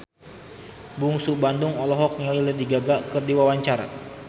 Bungsu Bandung olohok ningali Lady Gaga keur diwawancara